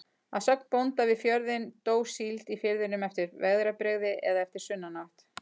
Að sögn bónda við fjörðinn, dó síld í firðinum eftir veðrabrigði eða eftir sunnanátt.